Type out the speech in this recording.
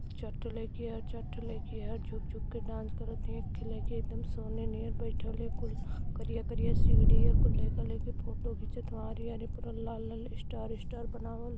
झुक झुक के डांस करत हैं नियर बैठल है कुल करिया करिया सीढ़ी हैकुल लइका लइकी फोटो आरी आरी पूरा लाल लाल स्टार स्टार बनावल --